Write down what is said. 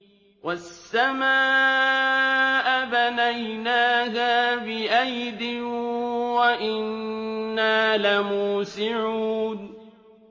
وَالسَّمَاءَ بَنَيْنَاهَا بِأَيْدٍ وَإِنَّا لَمُوسِعُونَ